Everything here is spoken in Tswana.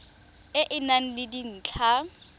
e e nang le dintlha